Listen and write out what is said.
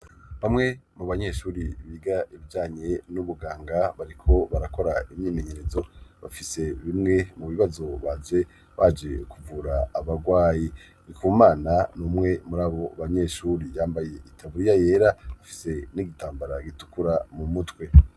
bamwe mu banyeshuri biga ibijanye n'ubuganga bariko barakora imyimenyerezo bafise bimwe mu bibazo baje baje kuvura abagwayi ndikumana numwe muri abo banyeshuri yambaye itaburiya yera bafise n'igitambara gitukura mumutwe